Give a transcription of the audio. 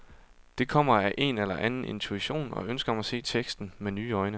Det kommer af en eller anden intuition og ønsket om at se teksten med nye øjne.